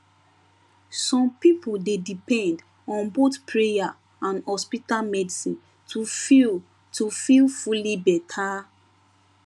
some people dey depend on both prayer and hospital medicine to feel to feel fully better